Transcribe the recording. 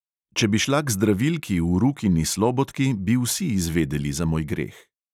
Če bi šla k zdravilki v rukini slobodki, bi vsi izvedeli za moj greh.